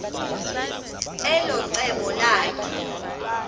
elo cebo lakhe